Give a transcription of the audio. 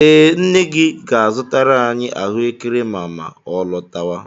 Ee, Nne ga-azụtara anyị ahụekere ma ma ọ lọtawa.